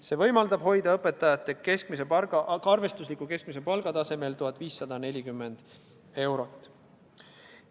See võimaldab hoida õpetajate arvestusliku keskmise palga 1540 euro tasemel.